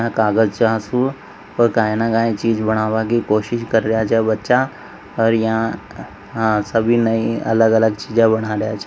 झा कागज का्य नि का्य चीज़ बनावे की कोशिश कर रिया छे बच्चा और यहाँ हा सभी नई अलग अलग चीज़े बना रया छ।